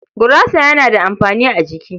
Gurasa yana da amfani a jiki.